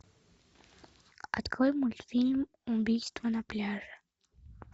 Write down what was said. открой мультфильм убийство на пляже